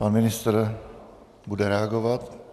Pan ministr bude reagovat.